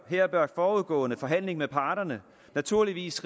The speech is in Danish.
her bør forudgående forhandling med parterne naturligvis